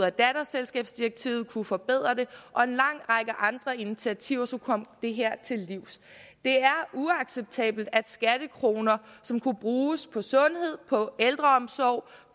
og datterselskabsdirektivet kunne indføre forbedringer og en lang række andre initiativer skulle komme det her til livs det er uacceptabelt at skattekroner som kunne bruges på sundhed på ældreomsorg